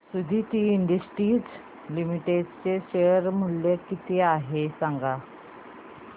Suditi industries limited चे share मूल्य किती आहे सांगा